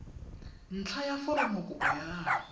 ntlha ya foromokopo ya gago